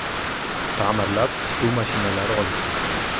Ta’mirlab, tikuv mashinalari olib keldik.